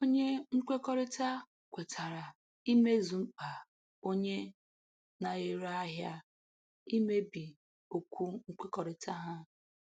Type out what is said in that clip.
Onye nkwekọrịta kwetara imezu mkpa onye na-ere ahịa; imebi okwu nkwekọrịta ha.